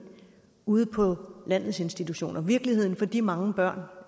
ude på landets institutioner virkeligheden for de mange børn